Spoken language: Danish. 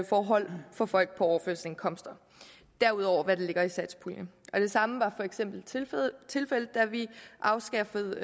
forhold for folk på overførselsindkomster ud over hvad der ligger i satspuljen det samme var for eksempel tilfældet da vi afskaffede